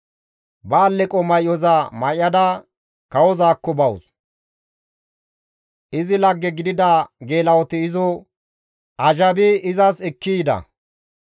Ba alleqo may7oza may7ada kawozaakko bawus; izi lagge gidida geela7oti izo azhabi izas ekki yida.